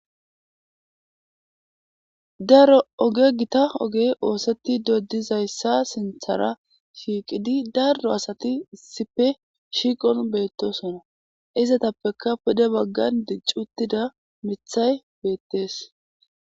daro oge gita oge ooseti dodizayssa sinthara shiiqidi darro asati issipe shiiqon beettosona izatappeka pude baggan diccuttida mithay beettees